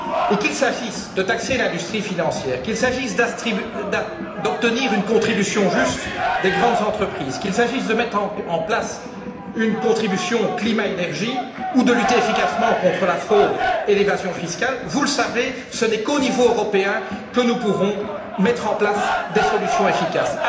Qu'il s'agisse de taxer l'industrie financière, d'obtenir une contribution juste des grandes entreprises, de mettre en place une contribution climat énergie ou de lutter efficacement contre la fraude et l'évasion fiscales, vous le savez, ce n'est qu'au niveau européen que nous pourrons mettre en place des solutions efficaces.